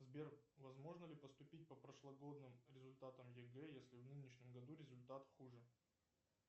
сбер возможно ли поступить по прошлогодним результатам егэ если в нынешнем году результат хуже